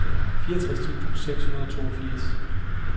fireogtres tusind seks hundrede og toogfirs